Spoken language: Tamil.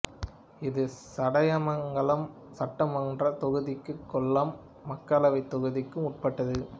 இது சடையமங்கலம் சட்டமன்றத் தொகுதிக்கும் கொல்லம் மக்களவைத் தொகுதிக்கும் உட்பட்டது